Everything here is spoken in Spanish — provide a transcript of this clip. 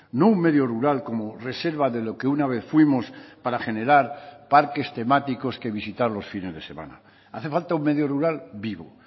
no un medio rural como reserva de lo que una vez fuimos para generar parques temáticos que visitar los fines de semana hace falta un medio rural vivo